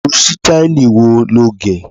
rú sítáílì wo lọ gé?